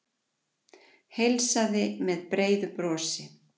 Heilsaði með breiðu brosi.